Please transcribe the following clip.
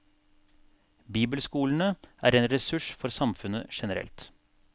Bibelskolene er en ressurs for samfunnet generelt.